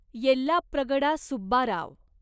Yellapragada Subbarao